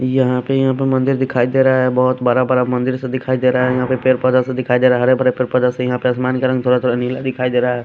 यहां पे यहां पे मंदिर दिखाई दे रहा है बहोत बड़ा बड़ा मंदिर सा दिखाई दे रहा है यहां पे पैर पौदा से दिखाई दे रहा है हरे भरे पैर पौदा से यहां पे आसमान का रंग थोड़ा-थोड़ा नीला दिखाई दे रहा है।